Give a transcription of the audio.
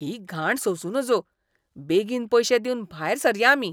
ही घाण सोसूं नजो. बेगीन पयशे दिवन भायर सरया आमी.